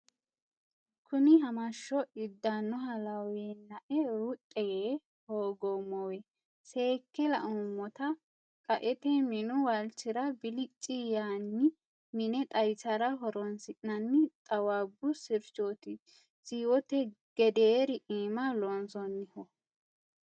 Kuni hamasho idanoha lawenae ruxi yee hooguummowe seekke lauummotta qaete minu waalchira bilci yaanni mine xawisara horonsi'nanni xawaabbu sirchoti siwote gederi iima loonsonniho.